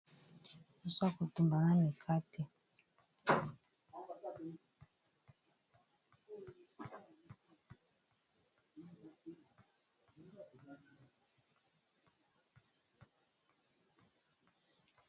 Soso ya kotumba na mikate.